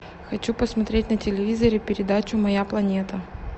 хочу посмотреть на телевизоре передачу моя планета